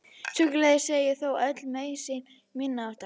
Sjúkraliðar segja þó öll meiðsl minniháttar